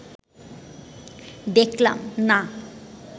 দেখলাম, না